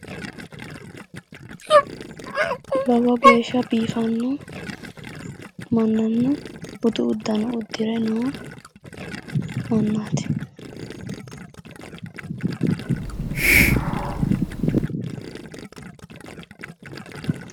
Lowo geeshsha biifanno mannanna budu uddano uddire noo mannaati.